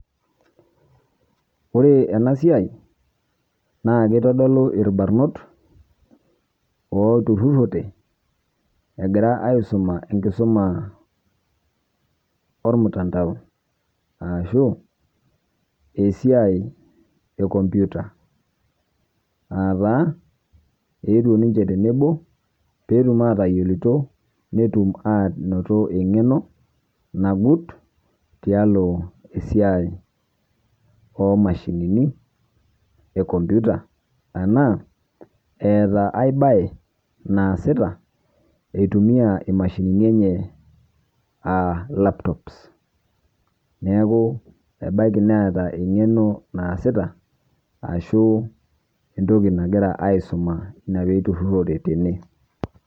Ore ena siai naa keitodoluu elbaarnot otururote egiraa aisuma enkisuma olmtandao arashu esiai e kompyuta aata etio ninchee tene neboo pee etuum aitayelutoo netuum anotoo eng'eno najuut te aloo esiai omashini e kompyuta. Tana eetaa aai bayi naasita eitumia emashinini enyee aa laptops. Neeku abaaki neeta eng'eno naasita ashuu ntokii nagira aisuma nia pee etururote tene.